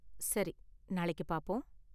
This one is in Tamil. சரி, நாளைக்கு பாப்போம்.